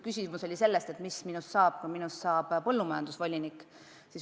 Küsimus aga oli, mis minust saab, kui minust saab põllumajandusvolinik.